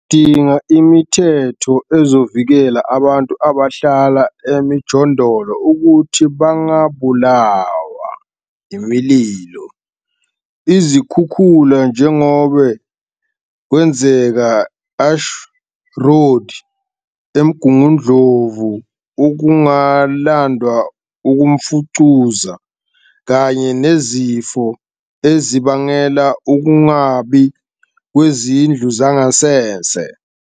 Sidinga imithetho ezovikela abantu abahlala emijondolo ukuthi bangabulawa imililo, izikhukhula njengoba kwenzeka e-Ash Road eMgungundlovu, ukungalandwa kwemfucuza kanye nezifo ezibangelwa ukungabiko kwezindlu zangasese.